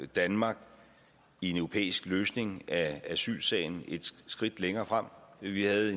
danmark i en europæisk løsning af asylsagen et skridt længere frem vi havde